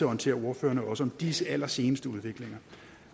orientere ordføreren om også disse allerseneste udviklinger